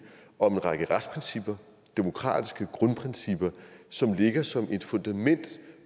om en række retsprincipper demokratiske grundprincipper som ligger som et fundament